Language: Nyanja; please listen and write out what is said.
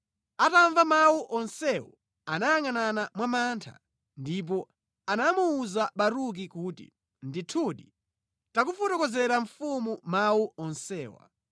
Atamva mawu onsewo, anayangʼanana mwa mantha ndipo anamuwuza Baruki kuti, “Ndithudi tikafotokozera mfumu mawu onsewa.”